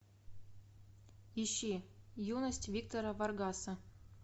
ищи юность виктора варгаса